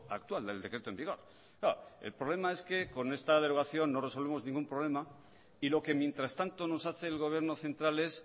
actual del decreto en vigor claro el problema es que con esta derogación no resolvemos ningún problema y lo que mientras tanto nos hace el gobierno central es